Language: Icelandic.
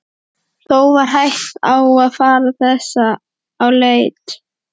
Þó var hætt á að fara þess á leit.